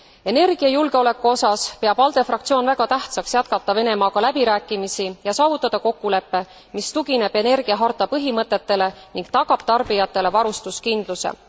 Energiajulgeoleku osas peab ALDE fraktsioon väga tähtsaks jätkata Venemaaga läbirääkimisi ja saavutada kokkulepe, mis tugineb energiaharta põhimõtetele ning tagab tarbijatele varustuskindluse.